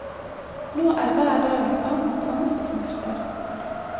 Nå er hver dag en kamp mot angst og smerter.